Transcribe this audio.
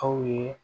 Aw ye